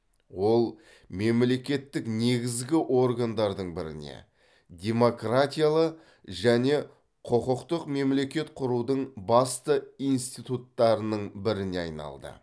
ол мемлекеттік негізгі органдардың біріне демократиялы және құқықтық мемлекет құрудың басты институттарының біріне айналды